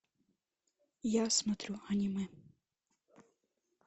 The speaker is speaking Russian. я смотрю аниме